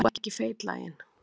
Þó ekki feitlaginn.